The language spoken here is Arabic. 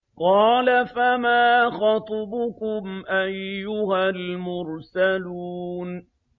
۞ قَالَ فَمَا خَطْبُكُمْ أَيُّهَا الْمُرْسَلُونَ